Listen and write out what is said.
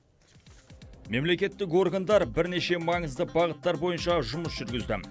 мемлекеттік органдар бірнеше маңызды бағыттар бойынша жұмыс жүргізді